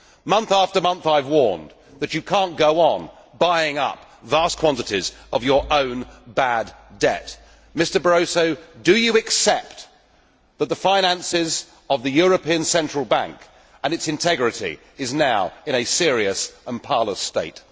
Month after month, I have warned that you cannot go on buying up vast quantities of your own bad debt. Mr Barroso, do you accept that the finances of the European Central Bank and its integrity are now in a serious and parlous state?